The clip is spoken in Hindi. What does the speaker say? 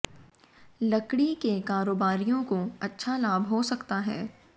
लकड़ी के कारोबारियों को अच्छा लाभ हो सकता है